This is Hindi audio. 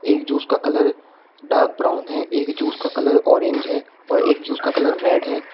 एक जूस का कलर डार्क ब्राउन है एक जूस का कलर ऑरेंज है और एक जूस का कलर रेड है।